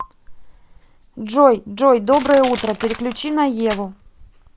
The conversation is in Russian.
джой джой доброе утро переключи на еву